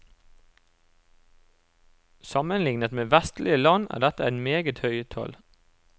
Sammenlignet med vestlige land er dette et meget høyt tall.